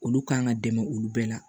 Olu kan ka dɛmɛ olu bɛɛ la